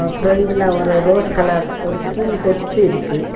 ஃப்ரண்டுல ஒரு rose colour ஒரு பூங்கொத்து இருக்கு.